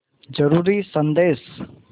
ज़रूरी संदेश